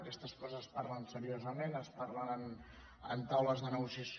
aquestes coses es parlen seriosament es parlen en taules de negociació